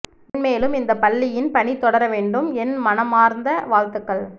மென்மேலும் இந்த பள்ளியின் பணி தொடர வேண்டும் என் மனமார்ந்த வாழ்த்துக்கள்